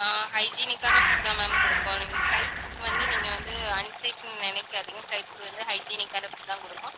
ஆஹ் hygienic ஆன food தான் ma'am கொடுப்போம். நீங்க flight food வந்து, நீங்க வந்து unsafe ன்னு நினைக்காதீங்க flight food வந்து, hygienic ஆன food தான் கொடுப்போம்